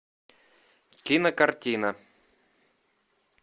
кинокартина